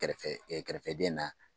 Kɛrɛfɛ kɛrɛfɛdɛn na